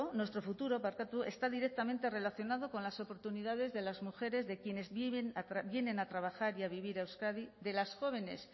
nuestro futuro está directamente relacionado con las oportunidades de las mujeres de quienes vienen a trabajar y a vivir a euskadi de las jóvenes